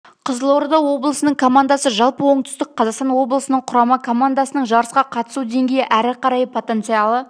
қызылорда облысының командасы жалпы оңтүстік қазақстан облысының құрама командасының жарысқа қатысу деңгейі әрі қарай потенциалы